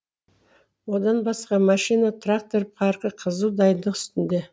одан басқа машина трактор паркі қызу дайындық үстінде